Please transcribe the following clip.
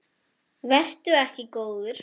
Vertu ekki góður.